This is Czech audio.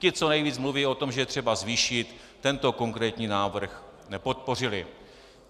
Ti, co nejvíc mluví o tom, že je třeba zvýšit, tento konkrétní návrh nepodpořili.